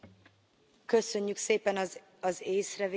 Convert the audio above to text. Köszönjük szépen az észrevételét!